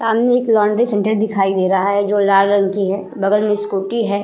सामने एक laundry centre दिखाई दे रहा है जो लाल रंग की है बगल में स्कूटी है।